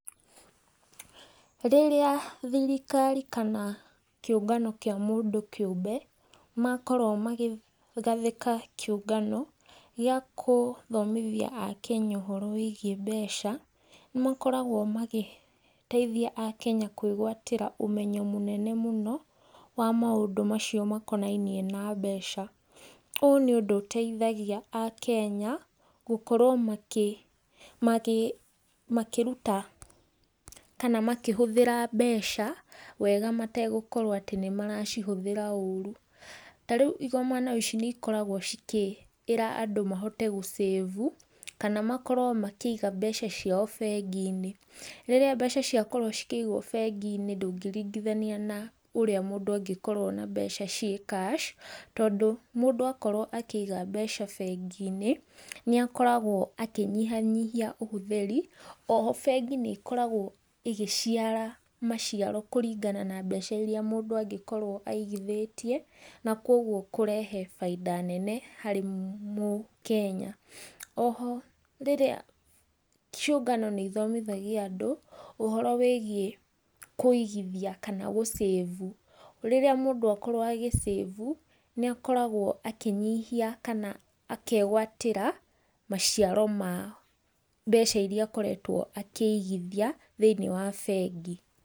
Rĩrĩa thirikari kana kĩũngano kĩa mũndũ kĩũmbe, makorwo makĩgathĩka kĩũngano, gĩa kũthomithia akenya ũhoro wĩgiĩ mbeca, nĩ makoragwo magĩteithia akenya kwĩgwatĩra ũmenyo mũnene mũno, wa maũndũ macio makonainie na mbeca. Ũũ nĩ ũndũ ũteithagia akenya, gũkorwo makĩ magĩ makĩruta kana makĩhũthĩra mbeca wega mategũkorwo atĩ nĩ maracihũthĩra ũru. Ta rĩu igomano ici nĩ ikoragwo cikĩra andũ mahote gũcĩbu, kana makorwo makĩiga mbeca ciao bengi-inĩ. Rĩrĩa mbeca ciakorwo cikĩigwo bengi-inĩ ndũngĩringithania ũrĩa mũndũ angĩkorwo na mbeca ciĩ cash tondũ mũndũ akorwo akĩiga mbeca bengi-inĩ, nĩ akoragwo akĩnyihanyihia ũhũthĩri, oho bengi-inĩ nĩ ĩkoragwo ĩgĩciara maciaro kũringana na mbeca iria mũndũ angĩkorwo aigithĩtie, na koguo kũrehe faida nene harĩ mũkenya. Oho rĩrĩa ciũngano nĩ ithomithagia andũ, ũhoro wĩgiĩ kũigithia kana gũcĩbu. Rĩrĩa mũndũ akorwo agĩcĩbu, nĩ akoragwo akĩnyihia kana akegwatĩra maciaro ma mbeca iria akoretwo akĩigithia thĩinĩ wa bengi.